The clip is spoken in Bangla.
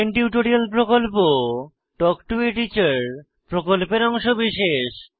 স্পোকেন টিউটোরিয়াল প্রকল্প তাল্ক টো a টিচার প্রকল্পের অংশবিশেষ